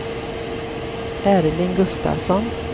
Erling Gustafsson